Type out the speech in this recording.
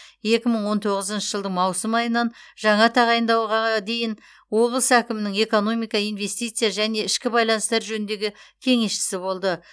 екі мың он тоғызыншы жылдың маусым айынан жаңа тағайындауға дейін облыс әкімінің экономика инвестиция және ішкі байланыстар жөніндегі кеңесшісі болды